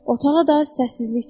Otağa da səssizlik çökdü.